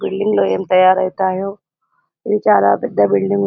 Building లో ఏమి తయ్యారు అవుతాయో ఇది చాలా పెద్ద బిల్డింగ్ .